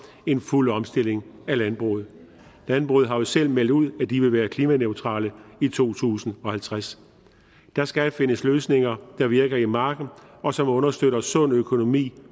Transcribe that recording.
en fuld omstilling af landbruget landbruget har jo selv meldt ud at de vil være klimaneutrale i to tusind og halvtreds der skal findes løsninger der virker i marken og som understøtter en sund økonomi